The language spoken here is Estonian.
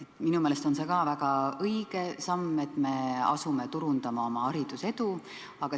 Ka minu meelest on see väga õige samm, et me asume turundama oma edu hariduse vallas.